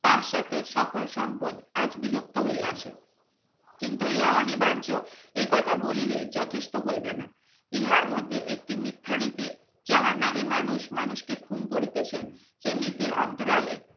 পাঁচ সাথে সকল সম্পদ আজ বিলুপ্ত হইয়াছে কিন্তু ইহা অনিবার্য এ কথা বলিনি যথেষ্ট হইবে না ইহার মধ্যে একটি মিথ্যা নীতি জাহান্নামে মানুষ মানুষকে খুন করিতেছে যে নীতির অন্তর